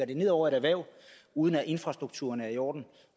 det ned over et erhverv uden at infrastrukturen er i orden